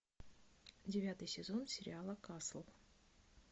девятый сезон сериала касл